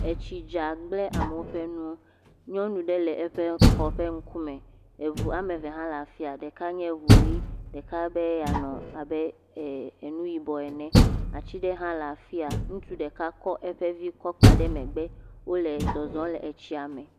Etsi dza gblẽ amewo ƒe nu, nyɔnu ɖe le eƒe xɔ ƒe ŋkume, eŋu ame eve hã le afi aɖe, ɖeka nye ŋu ʋi ɖeka be yeanɔ abe nu yibɔ ene, ati aɖe hã le afi ya, ŋutsu ɖeka kɔ eƒe vi kɔ kpa ɖe megbe eye wole zɔzɔm le tsia me.